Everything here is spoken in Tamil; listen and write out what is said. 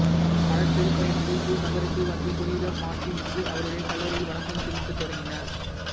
பல திருப்பயணிகள் தூர் நகருக்கு வந்து புனித மார்ட்டினுக்கு அவருடைய கல்லறையில் வணக்கம் செலுத்தத் தொடங்கினர்